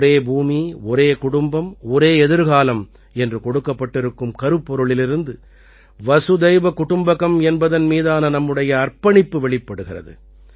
ஒரே பூமி ஒரே குடும்பம் ஒரே எதிர்காலம் என்று கொடுக்கப்பட்டிருக்கும் கருப்பொருளிலிருந்து வசுதைவ குடும்பகம் என்பதன் மீதான நம்முடைய அர்ப்பணிப்பு வெளிப்படுகிறது